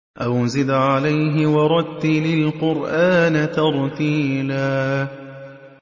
أَوْ زِدْ عَلَيْهِ وَرَتِّلِ الْقُرْآنَ تَرْتِيلًا